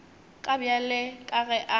ka bjale ka ge a